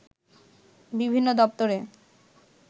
বিভিন্ন দপ্তরে